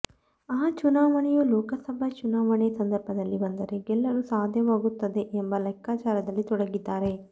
ಆ ಚುನಾವಣೆಯೂ ಲೋಕಸಭೆ ಚುನಾವಣೆ ಸಂದರ್ಭದಲ್ಲೇ ಬಂದರೆ ಗೆಲ್ಲಲು ಸಾಧ್ಯವಾಗುತ್ತದೆ ಎಂಬ ಲೆಕ್ಕಾಚಾರದಲ್ಲಿ ತೊಡಗಿದ್ದಾರೆ